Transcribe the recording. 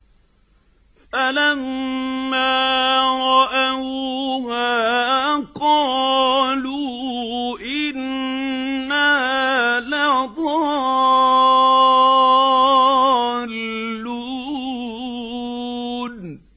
فَلَمَّا رَأَوْهَا قَالُوا إِنَّا لَضَالُّونَ